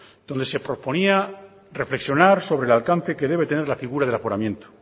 donde se proponía reflexionar sobre el alcance que debe tener la figura del aforamiento